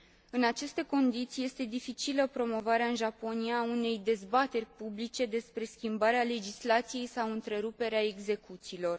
În aceste condiții, este dificilă promovarea în Japonia a unei dezbateri publice despre schimbarea legislației sau întreruperea execuțiilor.